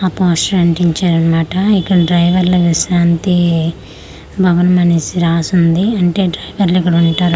ఆ పోస్టర్ అంటించారన్మాట ఇక్కడ డ్రైవర్ల విశ్రాంతి భవనము అనేసి రాసుంది అంటే డ్రైవర్లు కూడా ఉంటారు.